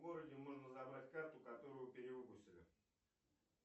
в городе можно забрать карту которую перевыпустили